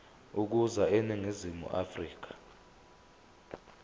ukuza eningizimu afrika